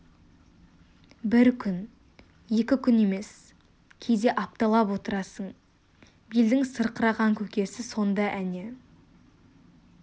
бір күн екі күн емес кейде апталап отырасың белдің сырқыраған көкесі сонда әне